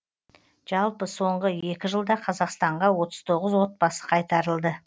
жалпы соңғы екі жылда қазақстанға отыз тоғыз отбасы қайтарылды